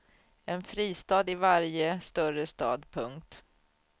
En fristad i varje större stad. punkt